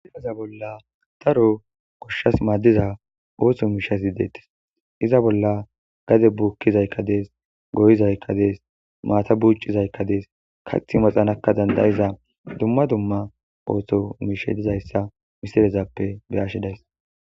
iaza bolla taro koshshas maaddiza ooso miishasi deettis iza bolla gade buukkizaykkades goyizaykkades maata buuccizaykkadees kathi maxanakka dandayiza dumma dumma ooththo miisha dizayssa misirezappe beyashidays